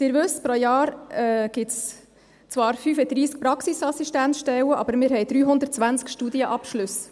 Sie wissen: Pro Jahr gibt es zwar 35 Praxisassistenzstellen, aber wir haben 320 Studienabschlüsse.